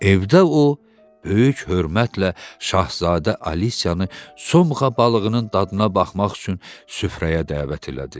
Evdə o, böyük hörmətlə şahzadə Alisiyanı somğa balığının dadına baxmaq üçün süfrəyə dəvət elədi.